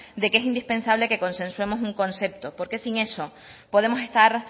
de que es indispensable que consensuemos un concepto porque sin eso podemos estar